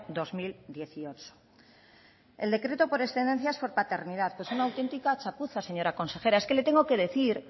dos mil dieciocho el decreto por excedencia es por paternidad pues una auténtica chapuza señora consejera es que le tengo que decir